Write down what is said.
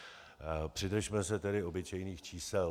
Přidržme se tedy obyčejných čísel.